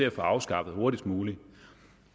at få afskaffet hurtigst muligt